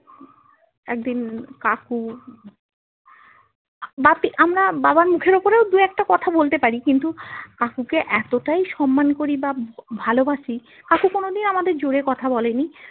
একদিন কাকু ব্যাপী আমরা বাবার মুখের উপরে দু একটা কথা বলতে পারি কিন্তু কাকুকে এতটাই সম্মান করি বা ভালোবাসি অথচো কোনোদিন আমাদের জোরে কথা বলেনি